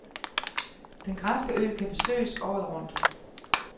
Den græske ø kan besøges året rundt.